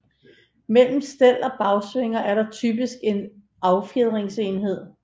Mellem stel og bagsvinger er der typisk en affjedringsenhed